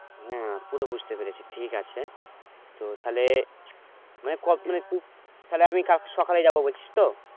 হ্যাঁ পুরো বুঝতে পেরেছি ঠিক আছে তো তাহলে মানে তাহলে আমি কালকে সকালে যাবো বলছিস তো?